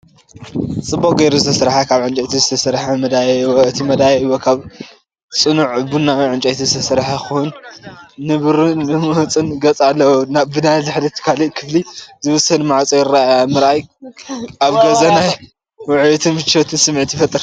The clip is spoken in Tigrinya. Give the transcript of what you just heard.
ጽቡቕ ጌሩ ዝተሰርሐን ካብ ዕንጨይቲ ዝተሰርሐ መደያይቦ፣ እቲ መደያይቦ ካብ ጽኑዕ ቡናዊ ዕንጨይቲ ዝተሰርሐ ኮይኑ ንብሩህን ልሙጽን ገጽ ኣለዎ። ብድሕሪት ናብ ካልእ ክፍሊ ዝወስድ ማዕጾ ይርአ። ምርኣይ ኣብ ገዛ ናይ ውዑይን ምቾትን ስምዒት ይፈጥር።